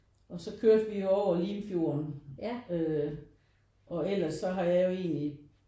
Og så kørte vi jo over Limfjorden øh og ellers så har jeg jo egentlig